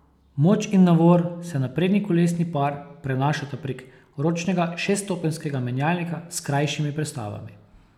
Moč in navor se na prednji kolesni par prenašata prek ročnega šeststopenjskega menjalnika s krajšimi prestavami.